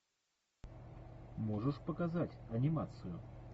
можешь показать анимацию